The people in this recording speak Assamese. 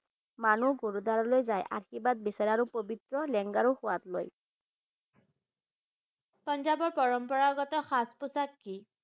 মানুহ গুৰুদ্বাৰলৈ যাই আৰু আশীৰ্বাদ বিচাৰে আৰু পবিত্ৰ লেঙ্গাৰৰো সোৱাদ লয় পাঞ্জাবৰ পৰম্পৰাগত সাজ পোছাক কি?